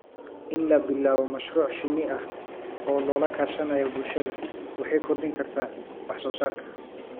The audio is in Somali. In la bilaabo mashruuc shinni ah oo lala kaashanayo bulshada waxay kordhin kartaa wax soo saarka.